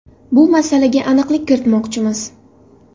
Bu masalaga aniqlik kiritmoqchimiz.